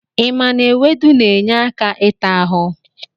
I maara na ewedu na-enye aka ịta ahụ?